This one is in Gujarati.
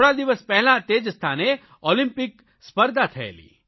થોડા દિવસ પહેલા તે જ સ્થાને ઓલિમ્પિક્સ સ્પર્ધા થયેલી